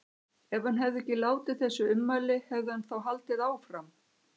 Ef hann hefði ekki látið þessi ummæli, hefði hann þá haldið áfram?